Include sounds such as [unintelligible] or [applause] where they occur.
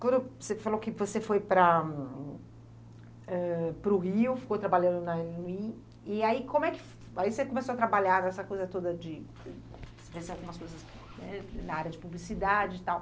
Quando você falou que você foi para ãh para o Rio, ficou trabalhando na, [unintelligible] e aí como é, e aí você começou a trabalhar nessa coisa toda de [unintelligible] algumas coisas na área de publicidade e tal.